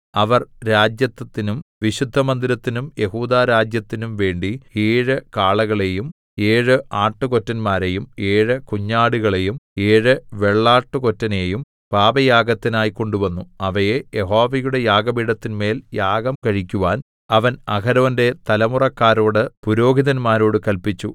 അവർ രാജത്വത്തിനും വിശുദ്ധമന്ദിരത്തിനും യെഹൂദാരാജ്യത്തിനും വേണ്ടി ഏഴ് കാളകളെയും ഏഴ് ആട്ടുകൊറ്റന്മാരെയും ഏഴ് കുഞ്ഞാടുകളെയും ഏഴു വെള്ളാട്ടുകൊറ്റനെയും പാപയാഗത്തിനായി കൊണ്ടുവന്നു അവയെ യഹോവയുടെ യാഗപീഠത്തിന്മേൽ യാഗം കഴിക്കുവാൻ അവൻ അഹരോന്റെ തലമുറക്കരോട് പുരോഹിതന്മാരോട് കല്പിച്ചു